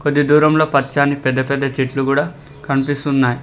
ఇది దూరంలో పచ్చాని పెద్ద పెద్ద చెట్లు గుడా కనిపిస్తున్నాయి.